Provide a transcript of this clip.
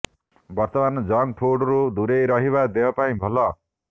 ବର୍ତ୍ତମାନ ଜଙ୍କ୍ ଫୁଡରୁ ଦୂରେଇ ରହିବା ଦେହ ପାଇଁ ଭଲ